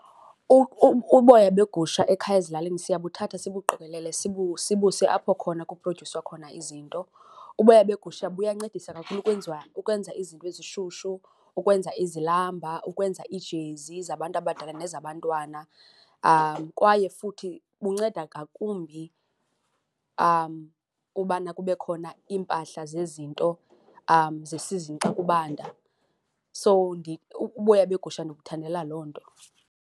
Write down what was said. Uboya begusha ekhaya ezilalini siyabuthatha sibuqokelele sibuse apho khona kuprodyuswa khona izinto. Uboya begusha buyancedisa kakhulu ukwenziwa, ukwenza izinto ezishushu, ukwenza izilamba, ukwenza iijezi zabantu abadala nezabantwana kwaye futhi bunceda ngakumbi ubana kube khona iimpahla zezinto zesizini xa kubanda. So uboya begusha ndibuthandela loo nto.